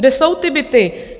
Kde jsou ty byty?